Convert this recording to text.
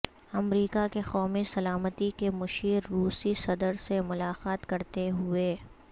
امریکہ کے قومی سلامتی کے مشیر روسی صدر سے ملاقات کرتے ہوئے